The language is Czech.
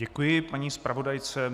Děkuji paní zpravodajce.